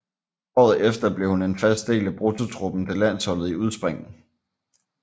Året efter blev hun en fast del af bruttotruppen til landsholdet i udspring